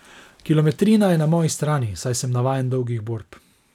Kilometrina je na moji strani, saj sem navajen dolgih borb.